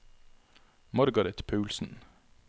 Margareth Paulsen